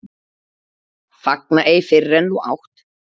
Fagna ei fyrr en þú átt.